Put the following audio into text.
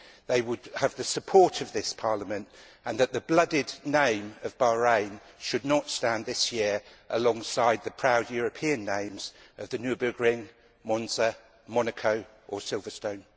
they would have the support of this Parliament, and that the bloodied name of Bahrain should not stand, this year, alongside the proud European names of the Nürburgring, Monza, Monaco and Silverstone.